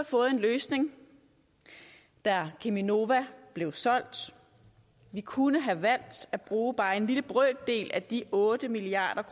fået en løsning da cheminova blev solgt vi kunne have valgt at bruge bare en lille brøkdel af de otte milliard